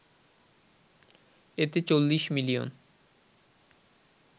এতে ৪০ মিলিয়ন